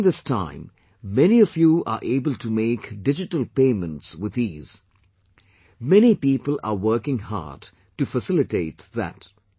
During this time, many of you are able to make digital payments with ease, many people are working hard to facilitate that